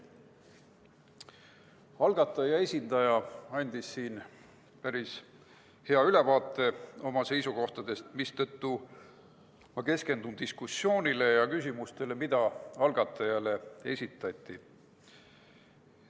Algataja esindaja andis siin päris hea ülevaate oma seisukohtadest, mistõttu ma keskendun diskussioonile ja küsimustele, mis algatajale esitati.